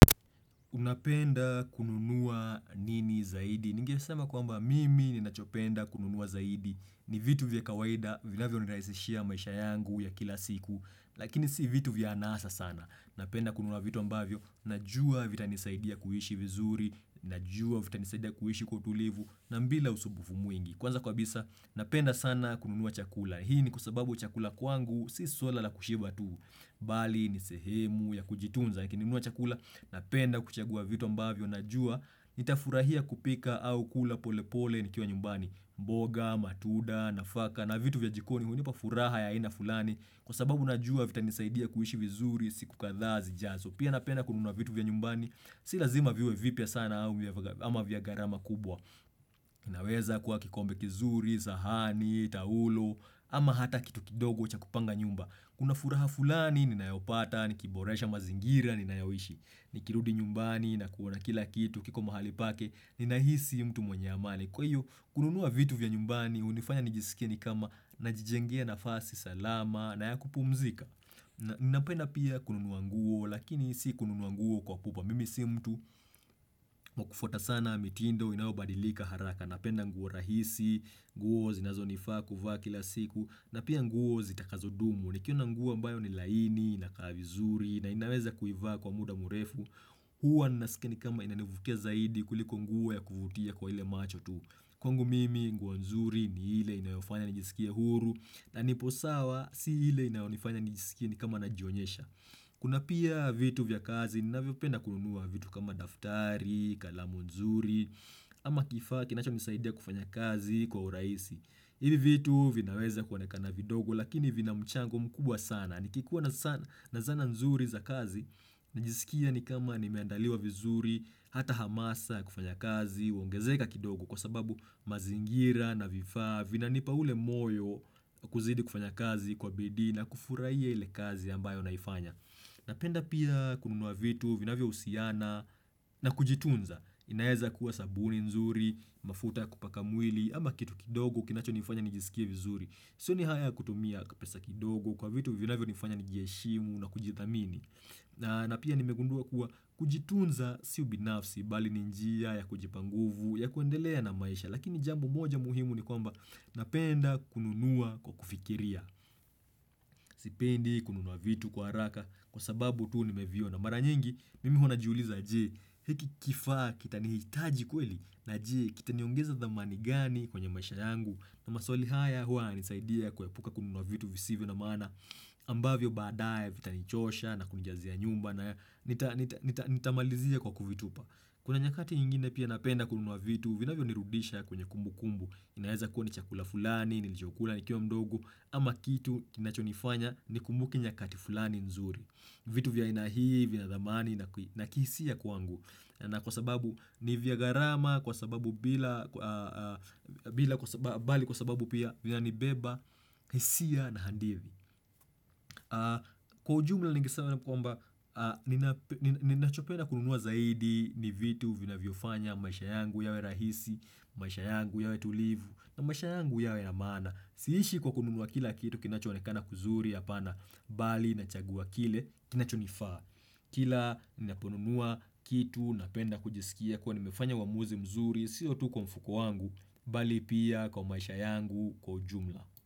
Unapenda kununua nini zaidi? Ningesema kwamba mimi ninachopenda kununua zaidi. Ni vitu vya kawaida, vinavyonirahisishia maisha yangu ya kila siku. Lakini si vitu vya anasa sana. Napenda kununua vitu ambavyo. Najua vitanisaidia kuishi vizuri. Najua vitanisaidia kuishi kwa utulivu. Na bila usumbufu mwingi. Kwanza kabisa, napenda sana kununua chakula. Hii ni kwa sababu chakula kwangu. Si swala la kushiba tu. Bali ni sehemu ya kujitunza. Lakini nikinunua chakula, napenda kuchagua vitu ambavyo, najua, nitafurahia kupika au kula pole pole nikiwa nyumbani mboga, matunda, nafaka, na vitu vya jikoni, hunipa furaha ya aina fulani Kwa sababu najua vitanisaidia kuishi vizuri, siku kadhaa zijazo Pia napenda kununua vitu vya nyumbani, si lazima viwe vipya sana ama vya gharama kubwa inaweza kuwa kikombe kizuri, sahani, taulo, ama hata kitu kidogo cha kupanga nyumba Kuna furaha fulani, ninayopata, nikiboresha mazingira, ninayoishi, nikirudi nyumbani, nakuona kila kitu, kiko mahali pake, ninahisi mtu mwenye amani. Kwa hio, kununua vitu vya nyumbani, hunifanya nijiskie ni kama najijengea nafasi salama, na ya kupumzika. Napenda pia kununua nguo, lakini si kununua nguo kwa pupa. Mimi si mtu wa kufuata sana, mitindo, inaobadilika haraka. Napenda nguo rahisi, nguo zinazonifaa kuvaa kila siku, na pia nguo zitakazodumu. Nikiona nguo ambayo ni laini, inakaa vizuri na inaweza kuivaa kwa muda mrefu Huwa naskia ni kama inanivutia zaidi kuliko nguo ya kuvutia kwa ile macho tu Kwangu mimi nguo nzuri ni ile inayofanya nijiskie huru na nipo sawa si ile inayonifanya nijiskie ni kama najionyesha Kuna pia vitu vya kazi ninavyopenda kununua vitu kama daftari, kalamu nzuri ama kifaa kinacho nisaidia kufanya kazi kwa urahisi Ivi vitu vinaweza kuonekana vidogo, lakini vina mchango mkubwa sana. Nikikuwa na zana nzuri za kazi, najiskia ni kama nimeandaliwa vizuri, hata hamasa ya kufanya kazi, uongezeka kidogo kwa sababu mazingira na vifaa, vinanipa ule moyo kuzidi kufanya kazi kwa bidii na kufurahia ile kazi ambayo naifanya. Napenda pia kununua vitu, vinavyohusiana na kujitunza, inaeza kuwa sabuni nzuri, mafuta ya kupaka mwili, ama kitu kidogo kinacho nifanya nijiskie vizuri. Sioni haya kutumia pesa kidogo kwa vitu vinavyo nifanya nijiheshimu na kujithamini na na pia nimegundua kuwa kujitunza si binafsi, bali ni njia ya kujipa nguvu ya kuendelea na maisha, lakini jambo moja muhimu ni kwamba napenda kununua kwa kufikiria. Sipendi kununua vitu kwa haraka kwa sababu tu nimeviona mara nyingi mimi huwa najiuliza je hiki kifaa kitanihitaji kweli na je kitaniongeza dhamani gani kwenye maisha yangu na maswali haya huwa yananisaidia kuepuka kununua vitu visivyo na maana ambavyo baadaye vitanichosha na kunijazia nyumba na nitamalizia kwa kuvitupa Kuna nyakati nyingine pia napenda kununua vitu vinavyonirudisha kwenye kumbukumbu inaeza kuwa ni chakula fulani, nilicho kula, nikiwa mdogo, ama kitu kinachonifanya nikumbuke nyakati fulani nzuri. Vitu vya aina hii vina dhamani, na kihisia kwangu. Na kwa sababu ni vya gharama, kwa sababu bila, bali kwa sababu pia vinanibeba, hisia na handithi. Kwa ujumla ningesema kwamba, ninachopenda kununua zaidi ni vitu vinavyofanya, maisha yangu yawe rahisi, maisha yangu yawe tulivu. Na maisha yangu yawe ya maana, siishi kwa kununua kila kitu kinacho onekana kuzuri hapana, bali nachagua kile kinachonifaa. Kila ninaponunua kitu napenda kujiskia kuwa nimefanya uamuzi mzuri, sio tu kwa mfuko wangu, bali pia kwa maisha yangu kwa ujumla.